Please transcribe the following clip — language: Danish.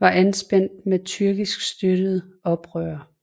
var anspændt med tyrkisk støttede oprørere